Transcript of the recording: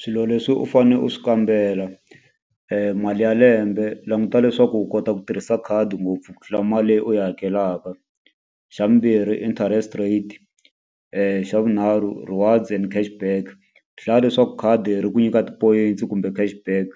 Swilo leswi u fanele u swi kambela mali ya lembe languta leswaku u kota ku tirhisa khadi ngopfu ku tlula mali leyi u yi hakelaka xa vumbirhi interest rate xa vunharhu rewards and cash back hlaya leswaku khadi ri ku nyika tipoyintsi kumbe cash back